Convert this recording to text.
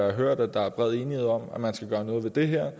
har hørt at der er bred enighed om at man skal gøre noget ved det her